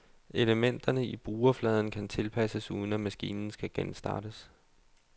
Elementerne i brugerfladen kan tilpasses uden at maskinen skal genstartes.